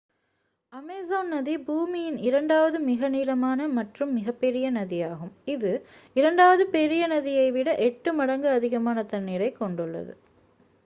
Amazon நதி பூமியின் இரண்டாவது மிக நீளமான மற்றும் மிகப்பெரிய நதியாகும் இது இரண்டாவது பெரிய நதியை விட 8 மடங்கு அதிகமான தண்ணீரைக் கொண்டுள்ளது